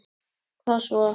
Hvað svo?